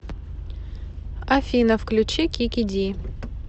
афина включи кики ди